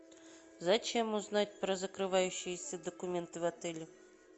зачем узнать про закрывающиеся документы в отеле